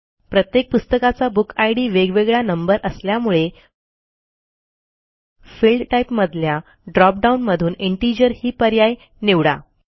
प्रत्येक पुस्तकाचा बुकिड वेगवेगळा नंबर असल्यामुळे फिल्ड टाईपमधल्या ड्रॉप डाऊन मधून इंटिजर ही पर्याय निवडा